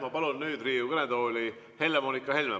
Ma palun nüüd Riigikogu kõnetooli Helle-Moonika Helme.